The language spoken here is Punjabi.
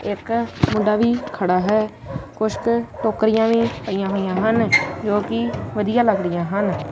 ਇਕ ਮੁੰਡਾ ਵੀ ਖੜਾ ਹੈ ਕੁਛ ਟੋਕਰੀਆਂ ਵੀ ਪਈਆਂ ਹੋਈਆਂ ਹਨ ਜੋ ਕਿ ਵਧੀਆ ਲੱਗਦੀਆਂ ਹਨ।